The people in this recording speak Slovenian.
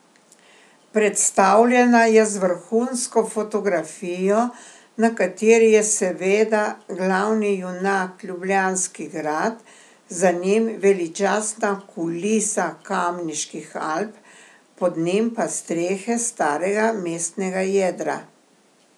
Predstavljena je z vrhunsko fotografijo, na kateri je seveda glavni junak Ljubljanski grad, za njim veličastna kulisa Kamniških Alp, pod njim pa strehe starega mestnega jedra.